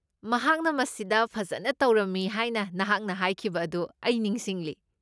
ꯃꯍꯥꯛꯅ ꯃꯁꯤꯗ ꯐꯖꯅ ꯇꯧꯔꯝꯃꯤ ꯍꯥꯏꯅ ꯅꯍꯥꯛꯅ ꯍꯥꯏꯈꯤꯕ ꯑꯗꯨ ꯑꯩ ꯅꯤꯡꯁꯤꯡꯂꯤ꯫